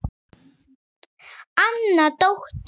Anna dóttir